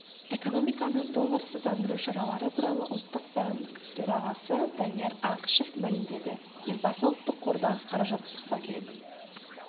экономиканы долларсыздандыру шаралары туралы ұлттық банк төрағасы данияр ақышев мәлімдеді елбасы ұлттық қордағы қаражатты сақтау керек